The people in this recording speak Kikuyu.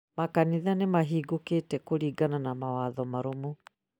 makanitha nĩ mahingũrĩkĩte kũringana na mawatho marũmu.